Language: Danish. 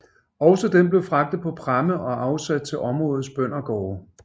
Også den blev fragtet på pramme og afsat til områdets bøndergårde